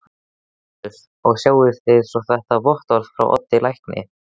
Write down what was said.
LÁRUS: Og sjáið svo þetta vottorð frá Oddi lækni.